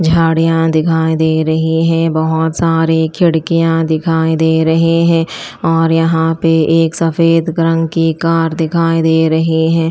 झाड़ियां दिखाई दे रही हैं बहुत सारे खिड़कियां दिखाई दे रहे हैं और यहां पे एक सफेद रंग की कार दिखाई दे रही है।